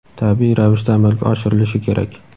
tabiiy ravishda amalga oshirilishi kerak.